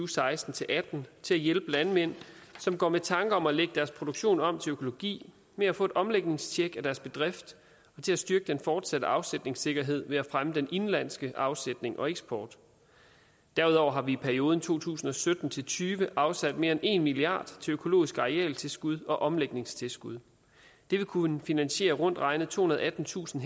seksten til atten til at hjælpe landmænd som går med tanker om at lægge deres produktion om til økologi med at få et omlægningstjek af deres bedrift og til at styrke den fortsatte afsætningssikkerhed ved at fremme den indenlandske afsætning og eksport derudover har vi i perioden to tusind og sytten til tyve afsat mere end en milliard til økologisk arealtilskud og omlægningstilskud det vil kunne finansiere rundt regnet tohundrede og attentusind